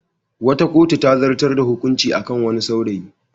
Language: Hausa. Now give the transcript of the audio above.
Wata kotu ta zartar da hukunci a kan wani saurayi.